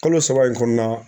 Kalo saba in kɔnɔna